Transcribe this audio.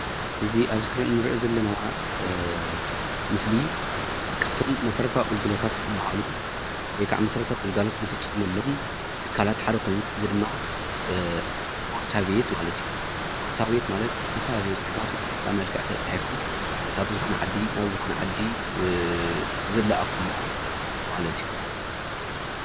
እዚ ኣብ እስክሪን እንሪኦ ዘለና ምስሊ በባዕሉ ወይ ድማ ካብቶም መሰረታዊ ግልጋሎት ዝፍፀመሎም ሓደ ኮይኑ ፖስታ ቤት ማለት። ፖስታ ቤት ዝፈላለዩ ፅሑፋት ብፖስታ መልክዕ ተፃሒፎም ካብ ዝኮነ ዓዲ ናብ ዝኮነ ዓዲ ዝለኣክሉ ማለት እዩ፡፡